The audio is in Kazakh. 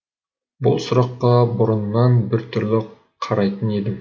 бұл сұраққа бұрыннан біртүрлі қарайтын едім